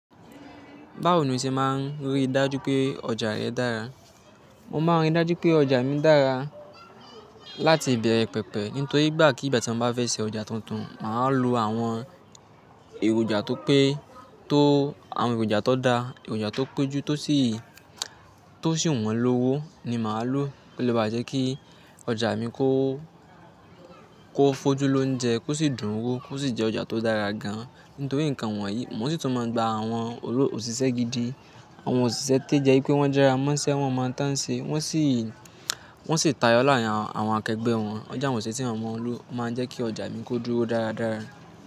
Báwo ni o ṣe máa ń rí dájú pé ọjà rẹ dára? Mo máa ń rí dájú pé ọjà mi dára láti ìbẹ̀rẹ̀ pẹ̀pẹ̀ nítorí igbàkígbà tí mo bá fẹ́ ṣe ọjà tuntun, màá lo àwọn èròjà tó pé tó àwọn èròjà tó daa, èròjà tó péjú tó sì tó sì wọ́n lówó ni màá lò. Ó lè bá a jẹ́ kí ọjà mi kó kó fojú lóúnjẹ kó sì dún n wó kó sì jẹ́ ọjà tó dára gan nítorí nǹkan wọ̀nyí. Mo sì tún máa ń gba àwọn olo òṣìṣẹ́ gidi, àwọn òṣìṣẹ́ tí je wipé wọ́n jara mọ́ṣẹ́, wọ́n mọhun tàn n ṣe wọ́n sì wọ́n sì tayọ láàrín àwọn awon akẹgbẹ́ wọn. Ọjà awon ose tí wọ́n mọ lò o máa ń jẹ́ kí ọjà mi kó dúró dáradára.